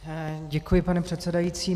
Děkuji, pane předsedající.